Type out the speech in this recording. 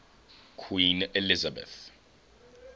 queen elizabeth